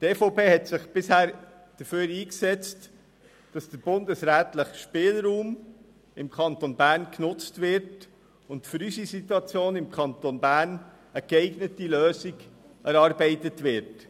Die EVP setzte sich bisher dafür ein, dass der bundesrätliche Spielraum im Kanton Bern genutzt und für unsere Situation im Kanton Bern eine geeignete Lösung erarbeitet wird.